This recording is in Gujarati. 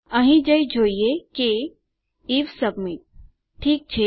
અહીં જઈ જોઈએ કે જો આઇએફ સબમિટ ઠીક છે